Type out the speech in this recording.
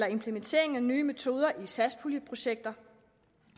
implementeringen af nye metoder i satspuljeprojekter